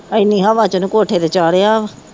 ਐਨੀ ਹਵਾ ਚ ਉਹਨੂੰ ਕੋਠੇ ਤੇ ਚਾੜ੍ਹਿਆ